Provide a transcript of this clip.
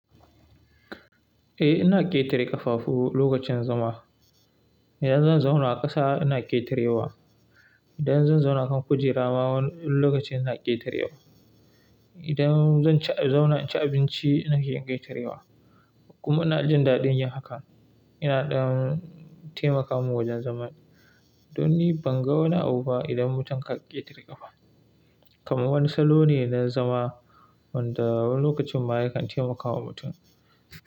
Eh, ina ƙetare ƙafafu lokacin zama. Idan zan zauna a ƙasa ina ƙetarewa. Idan zan zauna kan kujera ma wani lokaci ina ƙetarewa. Idan zan ci zauna ci abinci ina iya ƙetarewa. Kuma ina jin daɗin yin haka. Ina ɗan taimaka mun wajen zama. Don ni ban ga wani abu ba idan mutum ka ƙetare ƙafa. Kaman wani salo ne na zama wanda wani lokacin ma yakan taimaka wa mutum.